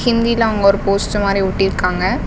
ஹிந்தில அங்க ஒரு போஸ்டர் மாரி ஒட்டிருக்காங்க.